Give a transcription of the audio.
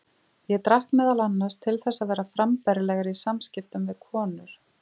Ég drakk meðal annars til þess að vera frambærilegri í samskiptum við konur.